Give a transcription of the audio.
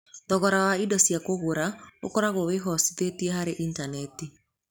Thogora wa indo cia gũgũra ũkoragwo wĩhocetie harĩ Intaneti.